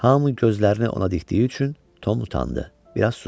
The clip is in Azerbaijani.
Hamının gözlərini ona dikdiyi üçün Tom utandı, biraz sustu.